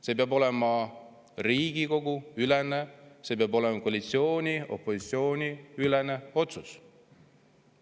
See peab olema Riigikogu-ülene, see peab olema koalitsiooni ja opositsiooni ülene otsus.